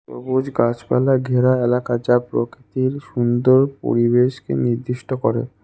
সবুজ গাছপালা ঘেরা এলাকা যা প্রকৃতির সুন্দর পরিবেশকে নির্দিষ্ট করে।